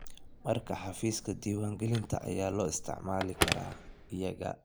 Markaa xafiiska diiwangelinta ayaa loo isticmaali karaa iyaga.